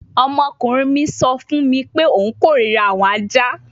Ọmọkunrin mi sọ fun mi pe o korira awọn aja